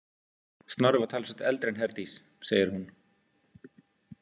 Snorri var talsvert eldri en Herdís, segir hún.